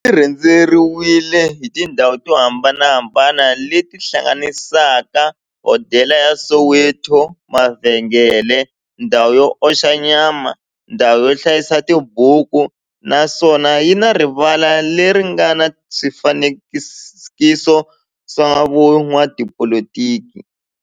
xi rhendzeriwile hi tindhawu to hambanahambana le ti hlanganisaka, hodela ya Soweto-mavhengele-ndhawu yo oxa nyama-ndhawu yo hlayisa tibuku, naswona yi na rivala le ri nga na swifanekiso swa vo n'watipolitiki.